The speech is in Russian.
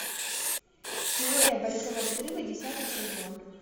теория большого взрыва десятый сезон